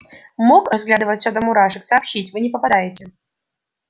мог разглядев все до мурашек сообщить вы не попадаете